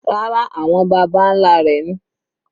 Rárá, àwọn baba nlá rẹ̀ ni.